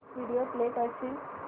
video play करशील